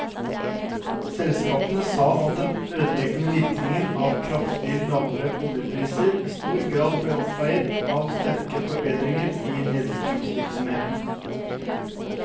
Selskapet sa at den ødeleggende virkning av kraftig lavere oljepriser i stor grad ble oppveiet av sterke forbedringer i nedstrømsvirksomheten.